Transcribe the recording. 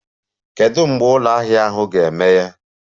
Kedu mgbe ụlọ ahịa ahụ ga-emeghe?